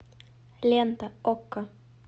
лента окко